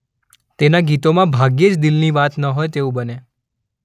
તેના ગીતોમાં ભાગ્યે જ દિલની વાત ન હોય તેવું બને.